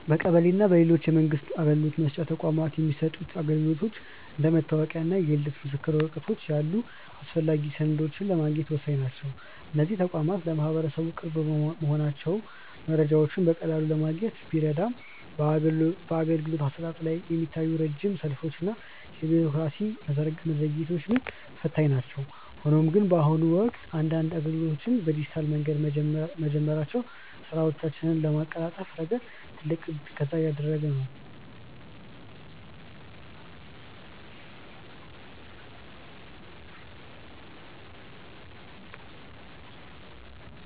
በቀበሌ እና በሌሎች የመንግስት አገልግሎት መስጫ ተቋማት የሚሰጡ አገልግሎቶች እንደ መታወቂያ እና የልደት ምስክር ወረቀት ያሉ አስፈላጊ ሰነዶችን ለማግኘት ወሳኝ ናቸው። እነዚህ ተቋማት ለማህበረሰቡ ቅርብ መሆናቸው መረጃዎችን በቀላሉ ለማግኘት ቢረዳም፣ በአገልግሎት አሰጣጡ ላይ የሚታዩት ረጅም ሰልፎች እና የቢሮክራሲ መዘግየቶች ግን ፈታኝ ናቸው። ሆኖም ግን፣ በአሁኑ ወቅት አንዳንድ አገልግሎቶች በዲጂታል መንገድ መጀመራቸው ስራዎችን በማቀላጠፍ ረገድ ትልቅ እገዛ እያደረገ ነው።